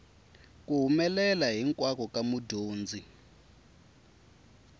ku humelela hinkwako ka mudyondzi